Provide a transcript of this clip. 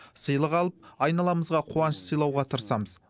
сыйлық алып айналамызға қуаныш сыйлауға тырысамыз